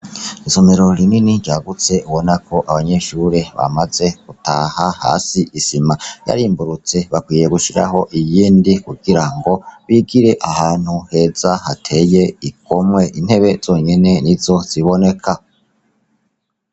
Isomero rinini ryagutse ubona ko abanyeshure bamaze gutaha hasi isima yarimburutse bakwiye gushiraho iyindi kugira ngo bigire ahantu heza hateye igomwe intebe zonyene nizo ziboneka.